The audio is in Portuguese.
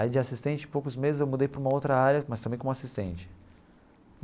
Aí de assistente, em poucos meses, eu mudei para uma outra área, mas também como assistente.